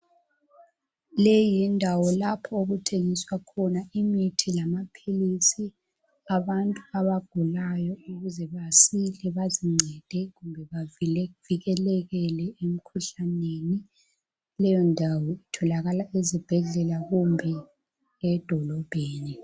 Leyi yindawo lapho okuthengiswa khona imithi lamapilisi abantu abagulayo ukuze basile bazincede kumbe bavikeleke emikhuhlaneni. Leyo ndawo itholakala ezibhedlela kumbe edolobheni.